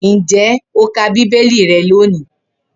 Ǹjé̩ o ti ka bíbélì re̩ lónìí?